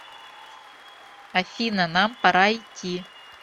афина нам пора идти